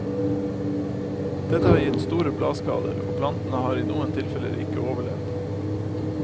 Dette har gitt store bladskader og plantene har i noe tilfeller ikke overlevd.